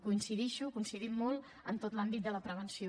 coincideixo coincidim molt en tot l’àmbit de la prevenció